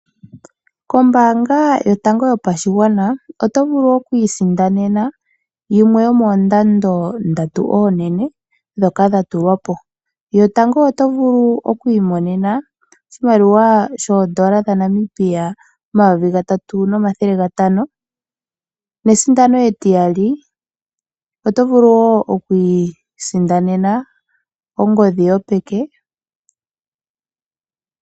KOmbaanga Yotango Yopashigwana oto vulu oku isindanena yimwe yomoondando ndatu oonene ndhoka dha tulwa po. Yotango oto vulu oku imonena oshimaliwa shooN$ 3500 nesindano etiyali oto vulu wo oku isindanena ongodhi yopeke.